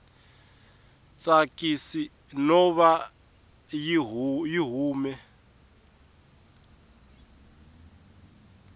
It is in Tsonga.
tsakisi no va yi hume